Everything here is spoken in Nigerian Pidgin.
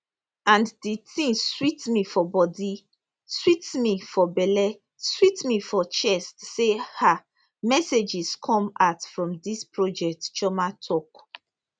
and di tin sweet me for bodi sweet me for belle sweet me for chest say ah messages come out from dis project chioma tok